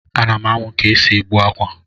A nam amu ka esi egbu akwa.